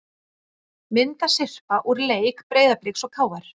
Myndasyrpa úr leik Breiðabliks og KR